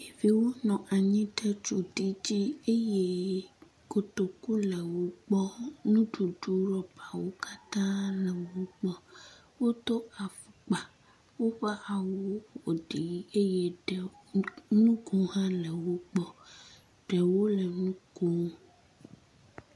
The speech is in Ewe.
Ɖeviwo nɔ anyi ɖe ɖoɖi dzi eye kotoku le wo gbɔ. Nuɖuɖu rɔbawo katã le wo gbɔ. Wodo afɔkpa. Woƒe awuwo ƒo ɖi eye ɖe ŋgo hã le wo gbɔ. Ɖewo le nu kom.